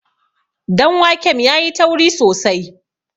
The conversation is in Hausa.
danwakem ya yi tauri sosai